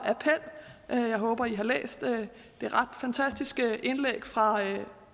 appel jeg håber at i har læst det ret fantastiske indlæg fra